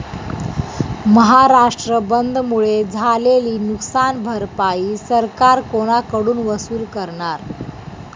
महाराष्ट्र बंदमुळे झालेली नुकसान भरपाई सरकार कोणाकडून वसूल करणार?